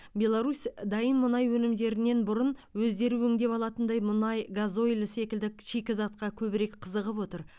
беларусь дайын мұнай өнімдерінен бұрын өздері өңдеп алатындай мұнай газойль секілді шикізатқа көбірек қызығып отыр